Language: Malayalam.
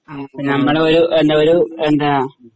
ആ ഞമ്മളോരു ഒരു എന്താ